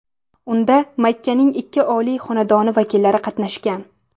Unda Makkaning ikki oliy xonadoni vakillari qatnashgan.